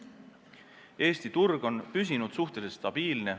Eesti turg on püsinud suhteliselt stabiilne.